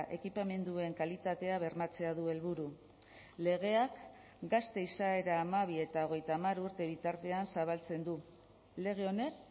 ekipamenduen kalitatea bermatzea du helburu legeak gazte izaera hamabi eta hogeita hamar urte bitartean zabaltzen du lege honek